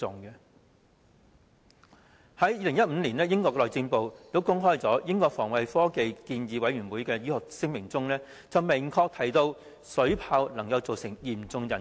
在2015年，英國內政部公開英國防衞科技建議委員會的醫學聲明，明確指出水炮能對人體造成嚴重損害。